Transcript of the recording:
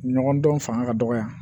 Ɲɔgɔn dɔn fanga ka dɔgɔ yan